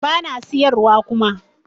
Bana siyar wa kuma